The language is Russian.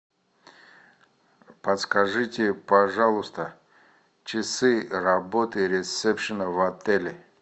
подскажите пожалуйста часы работы ресепшена в отеле